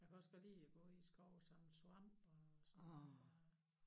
Jeg kan også godt lide at gå i æ skov og samle svampe og sådan noget